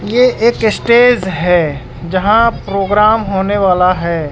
यह एक स्टेज है यहां प्रोग्राम होने वाला है।